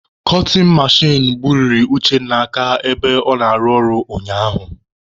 Kọtin mechin gbubiri Uchenna aka ebe ọ na-arụ ọrụ ụnyaahụ.